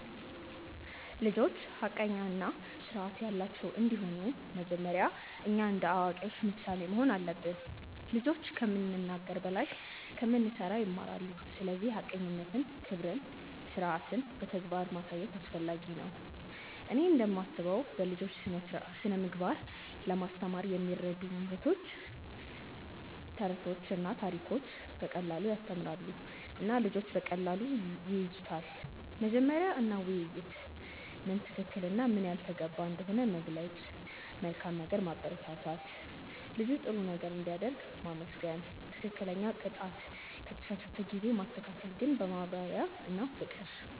ልጆች ሐቀኛ እና ስርዓት ያላቸው እንዲሆኑ መጀመሪያ እኛ እንደ አዋቂዎች ምሳሌ መሆን አለብን። ልጆች ከምንናገር በላይ ከምንሠራ ይማራሉ፤ ስለዚህ ሐቀኝነትን፣ ክብርን እና ስርዓትን በተግባር ማሳየት አስፈላጊ ነው። እኔ እንደምስበው ለልጆች ስነ ምግባር ለማስተማር የሚረዱ መንገዶች፦ ተረቶችና ታሪኮች –> በቀላሉ ያስተምራሉ እና ልጆች በቀላሉ ይያዙታል። መመሪያ እና ውይይት –> ምን ትክክል እና ምን ያልተገባ እንደሆነ መግለጽ። መልካም ነገር ማበረታት –> ልጅ ጥሩ ነገር ሲያደርግ ማመስገን። ትክክለኛ ቅጣት –> ከተሳሳተ ጊዜ ማስተካከል ግን በማብራሪያ እና በፍቅር።